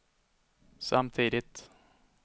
samtidigt